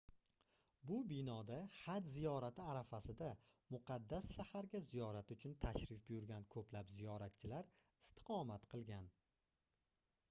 bu binoda haj ziyorati arafasida muqaddas shaharga ziyorat uchun tashrif buyurgan koʻplab ziyoratchilar istiqomat qilgan